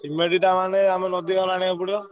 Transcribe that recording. Cement ଇଟା ନହେଲେ ଆଣିବାକୁ ପଡିବ।